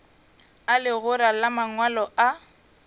a legora la mangwalo a